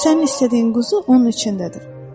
Sənin istədiyin quzu onun içindədir.